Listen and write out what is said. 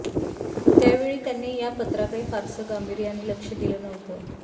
त्यावेळी त्यांनी या पत्राकडे फारसं गांभीर्याने लक्ष दिलं नव्हतं